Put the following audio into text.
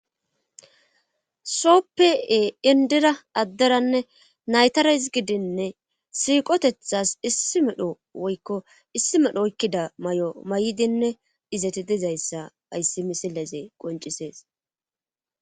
soppee indira adderanne naytara hisgidinne siiqotethas issi medho woykko issi medho oykkida may7o may7dinne izeti dizayssa ayssi misilezey qoncisees